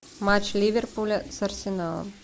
матч ливерпуля с арсеналом